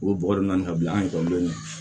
O bɔgɔ de na ka bila an ekɔlidenw